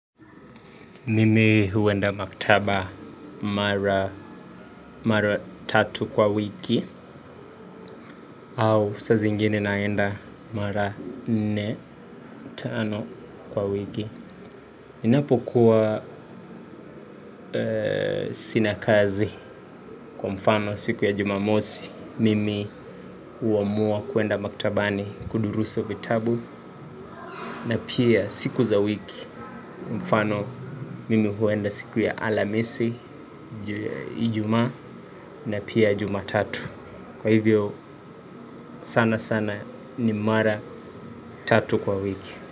Mimi huenda maktaba mara tatu kwa wiki. Au saa zingine naenda mara nne, tano kwa wiki. Ninapokuwa sina kazi kwa mfano siku ya jumamosi mimi huamua kuenda maktabani kudurusu vitabu. Na pia siku za wiki mfano mimi huenda siku ya alhamisi, Ijumaa na pia jumatatu. Kwa hivyo, sana sana ni mara tatu kwa wiki.